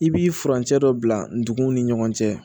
I b'i furancɛ dɔ bila ndugun ni ɲɔgɔn cɛ